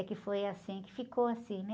É que foi assim, que ficou assim, né?